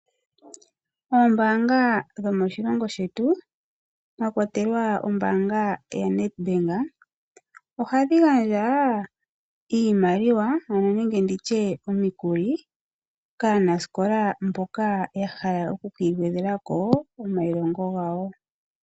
Oombaanga dho moshilongo shetu mwakwatelwa ombaanga yaNedbank ohadhi gandja iimaliwa nenge nditye omikuli kaanasikola mboka yahala oku kiigwedhela ko komailongo gawo.